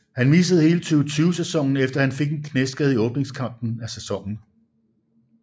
Han missede hele 2020 sæsonen efter han fik en knæskade i åbningskampen af sæsonen